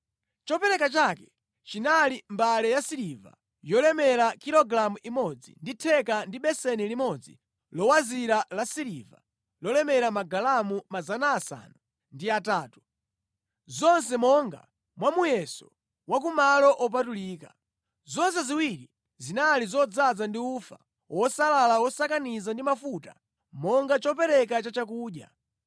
Chopereka chake chinali mbale yasiliva yolemera kilogalamu imodzi ndi theka ndi beseni limodzi lowazira lasiliva lolemera magalamu 800, zonse monga mwa muyeso wa ku malo opatulika. Zonse ziwiri zinali zodzaza ndi ufa wosalala wosakaniza ndi mafuta monga chopereka chachakudya;